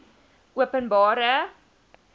openbare